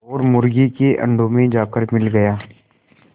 और मुर्गी के अंडों में जाकर मिल गया